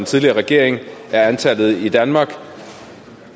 tidligere regering er antallet i danmark